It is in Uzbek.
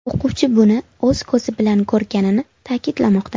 O‘quvchi buni o‘z ko‘zi bilan ko‘rganini ta’kidlamoqda.